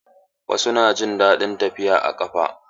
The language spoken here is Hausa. Wasu na jin daɗin tafiya a ƙafa.